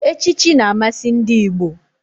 Echichi na-amasị ndị Igbo.